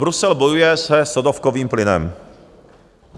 Brusel bojuje se sodovkovým plynem.